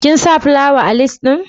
Kin sa plawa a lis din?